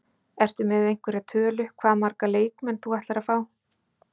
Ertu með einhverja tölu, hvað marga leikmenn þú ætlar að fá?